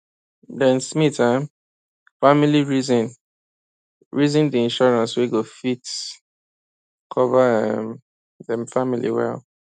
dem smith um family reason reason the insurance wey go fit cover um dem family well